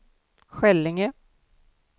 Skällinge